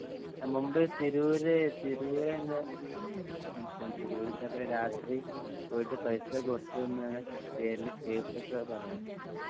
മുമ്പേ തിരൂര് തിരൂരയിന്റ തിരൂരിതെപോലെരാത്രി പോയിട്ട് പൈസ കൊടുത്തതെന്ന് കിട്ടിയേല് കേസൊക്കെ പറഞ്ഞിട്ടുണ്ട്.